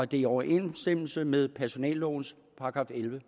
det i overensstemmelse med personellovens § elleve